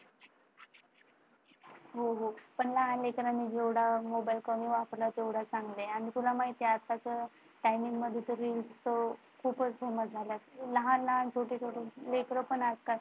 हो हो लहान लेकरांनी मोबाइल जेवढा कमी वापरावा तेवढा चांगलाच आहे ना ग आणि तुला माहितीये का आज काल timing मध्ये तर खूपच झालाय लहान लहान छोटी छोटी लेकरं पण आज काल